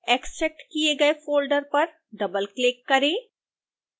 extract किए गए folder पर डबलक्लिक करें